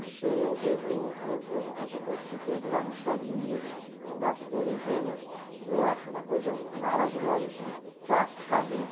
Não sei, eu vejo eh, eh, essa coisa que teve lá nos Estados Unidos das torres gêmeas, eu acho uma coisa maravilhosa, assim, plasticamente.